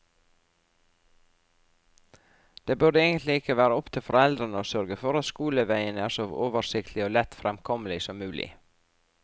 Det burde egentlig ikke være opp til foreldrene å sørge for at skoleveien er så oversiktlig og lett fremkommelig som mulig.